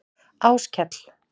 Áskell